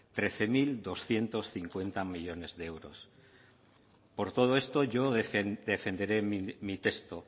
trece mil doscientos cincuenta millónes de euros por todo esto yo defenderé mi texto